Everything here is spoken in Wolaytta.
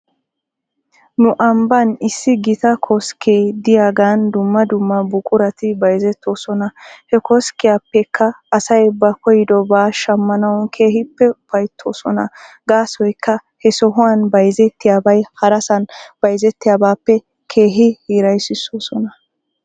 Nu ambban issi gita koskkee diyaagan dumma dumma buqurati bayzetoosona. He koskkiyaapekka asay ba koydobaa shammanaw keehippe ufaytoosona. Gaasoykka he sohuwan bayzettiyaabay harasan bayzettiyaabaappe keehi hiraysoosona.